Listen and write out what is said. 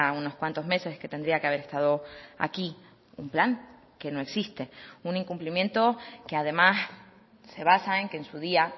unos cuantos meses que tendría que haber estado aquí un plan que no existe un incumplimiento que además se basa en que en su día